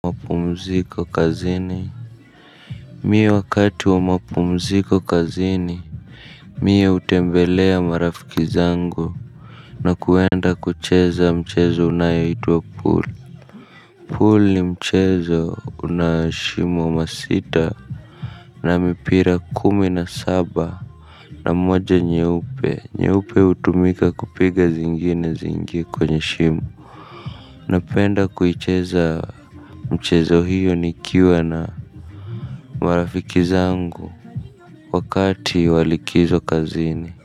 Mapumziko kazini Mie wakati wa mapumziko kazini Mie utembelea marafiki zangu. Na kuenda kucheza mchezo unayoitwa pool Pool ni mchezo unashimo masita na mipira kumi na saba. Na moja nyeupe nyeupe utumika kupiga zingine ziingie kwanye shimo. Napenda kuicheza mchezo hiyo nikiwa na marafiki zangu. Wakati wa likizo kazini.